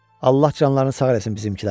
Allah canlarını sağ eləsin bizimkilərin.